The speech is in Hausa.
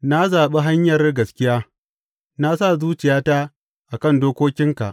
Na zaɓi hanyar gaskiya; na sa zuciyata a kan dokokinka.